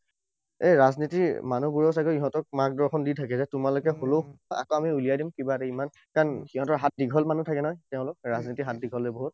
এই ৰাজনীতিৰ মানু্হবোৰেও চাগে ইহঁতক মাৰ্গ দৰ্শন দি থাকে, যে তোমালোকে আমি উলিয়াই দিম। কিবা এটা ইমান কাৰণ সিহঁতৰ হাত দীঘল মানুহ থাকে নহয়। তেওঁলোক, ৰাজনীতিৰ হাত দীঘল যে বহুত।